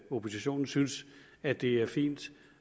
oppositionen synes at det er fint